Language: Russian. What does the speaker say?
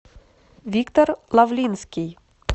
виктор лавлинский